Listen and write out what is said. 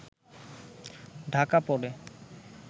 ঢাকা পড়ে